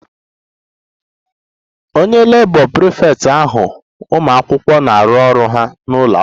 The Labour prefect ahazi ụmụ akwụkwọ na-arụ ọrụ ha n'ụlọ akwụkwọ